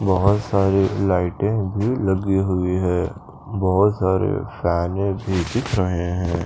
बहोत सारी लाइटे भी लगी हुई है बहुत सारे फ्लावर भी दिख रहे है।